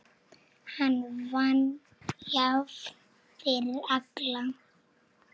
Hann vann jafnt fyrir alla.